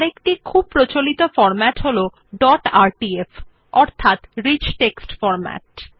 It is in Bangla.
আরেকটি খুব প্রচলিত ফরম্যাট হল ডট আরটিএফ অর্থাৎ রিচ টেক্সট ফরম্যাট